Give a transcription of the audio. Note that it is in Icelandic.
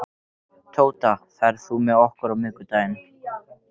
Tóta, ferð þú með okkur á miðvikudaginn?